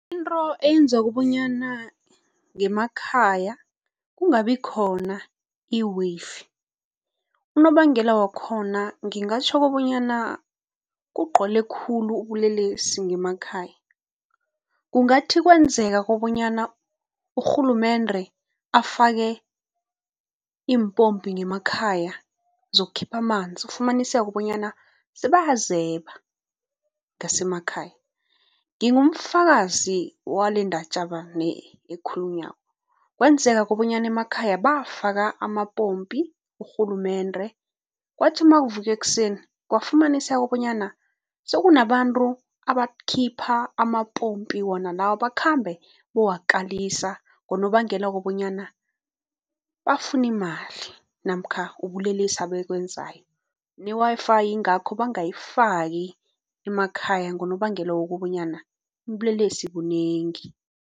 Into eyenza kobanyana ngemakhaya kungabikhona unobangela wakhona ngingatjho kobanyana kugcwele khulu ubulelesi ngemakhaya. Kungathi kwenzeka kobanyana urhulumende afake iimpompi ngemakhaya zokukhipha amanzi, ufumaniseke bonyana sebayazeba ngasemakhaya. Ngingumfakazi walendatjana le ekhulunywako. Kwenzeka kobanyana emakhaya bafaka amapompi, urhulumende, kwathi nakuvukwa ekuseni kwafumaniseka bonyana sekunabantu abakhipha amapompi wona la, bakhambe bayowakalisa ngonobangela wokobanyana bafuna imali namkha ubulelesi abakwenzayo ne-Wi-Fi yingakho bangayifaki emakhaya ngonobangela wokobanyana ubulelesi bunengi.